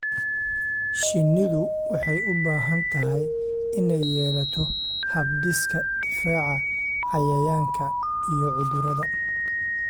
Shinnidu waxay u baahan tahay inay yeelato hab-dhiska difaaca cayayaanka iyo cudurrada.